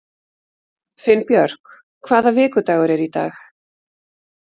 Finnbjörk, hvaða vikudagur er í dag?